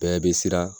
Bɛɛ bɛ siran